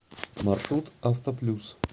маршрут автоплюс